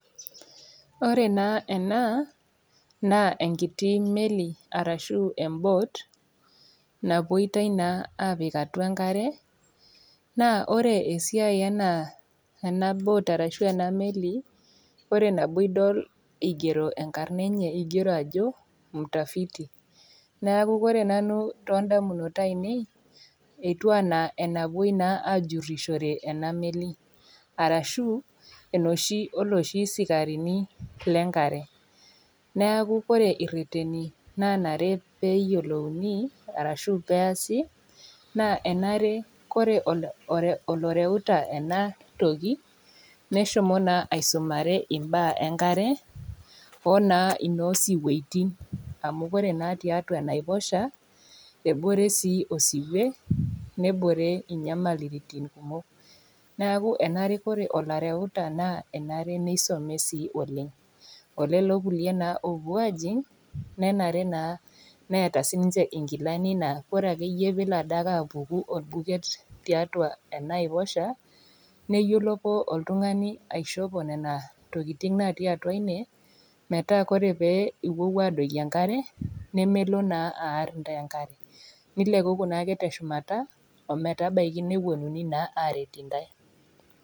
Ore naa ena, naa enkiti meli arashu embot napuoita naa apik atua enkare, naa ore esiai ena bot arashu ena meli, ore nabo idol eigero enkarna enye, eigero ajo mtafiti, neaku ore nanu too indamunot aainei, etu ana enapuo naa aajurishore ena meli, arashu enooshi oo looshi sikarini le enkare, neaku ore ireteni naanare pee eyiolouni arashu peasi, naa enare ore oloreuta ena toki, neshomo naa aisumare imbaa enkare, o naa inoo siwuetin, amu ore naa tiatua enaiposha, ebore sii osiwe, nebore inyamaliritin kumok, neaku enare ore oloreuta enare neisome sii oleng'. Olelo kulie naa oopuo ajing' nenare naa neata siininye inkilani naa ore ake iyie peelo Ade ake iyie apuku olbuket tiatua enaiposha, neyiolo oltung'ani aishopo Nena tokitin natii atua ine , nemelo naa aar intae enkare, nilekuku naa teshumata ometabaiki naa nepuonuni aret intai.